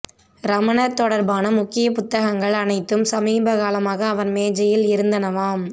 ரமணர் தொடர்பான முக்கிய புத்தகங்கள் அனைத்தும் சமீபகாலமாக அவர் மேஜையில் இருந்தனவாம்